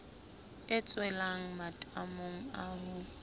e tshelwang matamong a ho